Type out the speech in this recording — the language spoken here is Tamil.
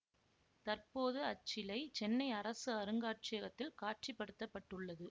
தற்போது அச்சிலை சென்னை அரசு அருங்காட்சியகத்தில் காட்சிப்படுத்தப்பட்டுள்ளது